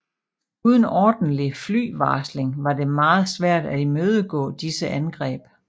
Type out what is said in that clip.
Uden ordentlig flyvarsling var det meget svært at imødegå disse angreb